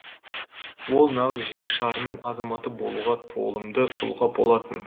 ол нағыз жер шарының азаматы болуға толымды тұлға болатын